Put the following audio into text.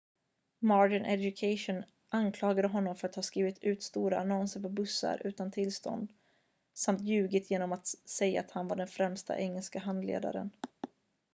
modern education anklagade honom för att ha skrivit ut stora annonser på bussar utan tillstånd samt ljugit genom att säga att han var den främsta engelska handledaren